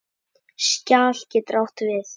Skjal getur átt við